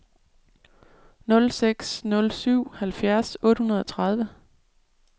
nul seks nul syv halvfjerds otte hundrede og tredive